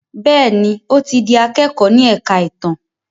Béèni o tí dì akẹkọ ní èka ìtàn.